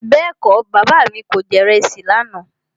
Bẹ́ẹ̀kọ́, Bàbá mi kò jẹ ìrẹsì lànà.